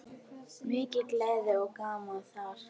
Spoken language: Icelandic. Mikil gleði og gaman þar.